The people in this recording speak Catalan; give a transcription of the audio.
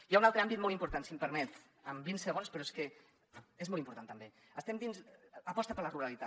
hi ha un altre àmbit molt important si m’ho permet en vint segons però és que és molt important també aposta per la ruralitat